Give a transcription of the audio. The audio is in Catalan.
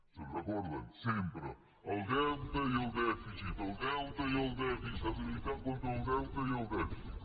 se’n recorden sempre el deute i el dèficit el deute i el dèficit s’ha de lluitar contra el deute i el dèficit